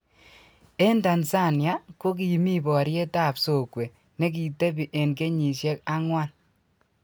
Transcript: en tanzania ko kimi poriet ap sokwe ne kitepi en kenyiksiek angwan